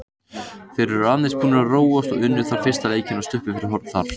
Þeir eru aðeins búnir að róast og unnu fyrsta leikinn og sluppu fyrir horn þar.